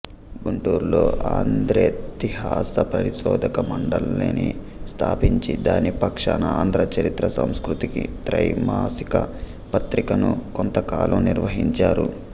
గుంటూరులో ఆంధ్రేతిహాస పరిశోధక మండలిని స్థాపించి దాని పక్షాన ఆంధ్ర చరిత్ర సంస్కృతి త్రైమాసిక పత్రికను కొంతకాలం నిర్వహించారు